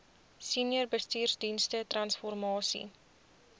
senior bestuursdienste transformasie